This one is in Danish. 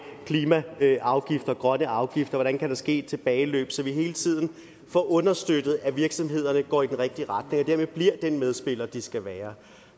klimaafgifter grønne afgifter hvordan der kan ske et tilbageløb så vi hele tiden får understøttet at virksomhederne går i den rigtige retning og dermed bliver den medspiller de skal være